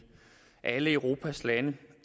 alle europas lande